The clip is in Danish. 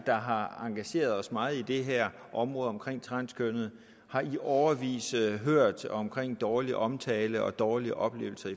der har engageret os meget i det her område med transkønnede har i årevis hørt om dårlig omtale og dårlige oplevelser